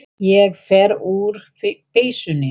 Ég fer úr peysunni.